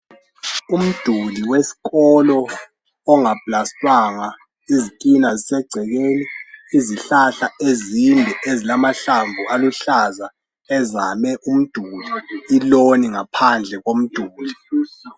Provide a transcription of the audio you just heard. Umduli weskolo ongaplastwanga. Izitina zisegcekeni .Izihlahla ezinde ezilamahlamvu aluhlaza ezame umduli . Iloni ngaphandle komduli .